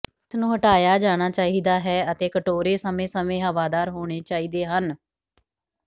ਇਸ ਨੂੰ ਹਟਾਇਆ ਜਾਣਾ ਚਾਹੀਦਾ ਹੈ ਅਤੇ ਕਟੋਰੇ ਸਮੇਂ ਸਮੇਂ ਹਵਾਦਾਰ ਹੋਣੇ ਚਾਹੀਦੇ ਹਨ